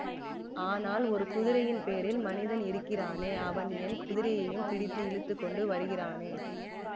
ஆனால் ஒரு குதிரையின் பேரில் மனிதன் இருக்கிறானே அவன் என் குதிரையையும் பிடித்து இழுத்து கொண்டு வருகிறானே